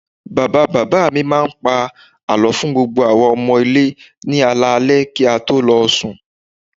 Bàbá bàbá mi máa ń pa àlọ́ fún gbogbo àwa ọmọ ilé ni alẹ́ alẹ́ kí a tó lọ sùn